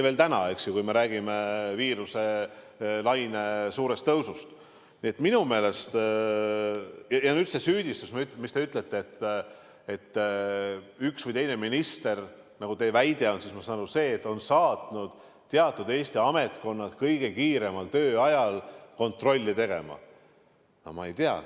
Täna me räägime viiruse laine suurest tõusust, nii et minu meelest teie süüdistus, et üks või teine minister, nagu teie väide on, on saatnud teatud Eesti ametkonnad kõige kiiremal tööajal kontrolli tegema – no ma ei tea.